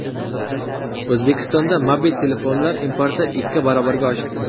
O‘zbekistonda mobil telefonlar importi ikki barobarga oshdi.